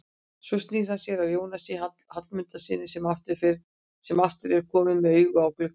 Svo snýr hann sér að Jónasi Hallmundssyni sem aftur er kominn með augun á gluggann.